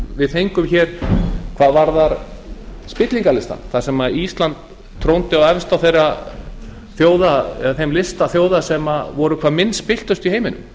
við fengum hvað varðar spillingarlistann þar sem ísland trónaði efst á þeim lista þeirra þjóða sem voru hvað minnst spilltust í heiminum